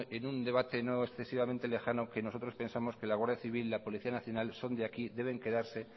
en un debate no excesivamente lejano que nosotros pensamos que la guardia civil y la policía nacional son de aquí deben quedarse